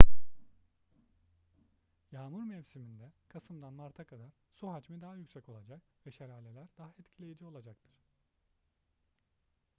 yağmur mevsiminde kasımdan marta kadar su hacmi daha yüksek olacak ve şelaleler daha etkileyici olacaktır